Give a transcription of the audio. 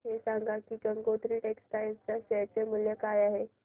हे सांगा की गंगोत्री टेक्स्टाइल च्या शेअर चे मूल्य काय आहे